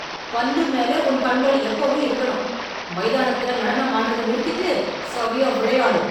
பந்து மேல உன் கண்கள் எப்பவும் இருக்கணும்! மைதானத்தில நடனம் ஆடுறத நிறுத்திட்டு சறியா விளையாடு.